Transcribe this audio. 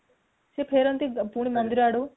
ସେ ଫେରନ୍ତି ମନ୍ଦିର ଆଡକୁ